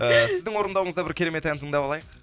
ііі сіздің орындауыңызда бір керемет ән тыңдап алайық